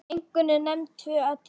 Einkum eru nefnd tvö atriði.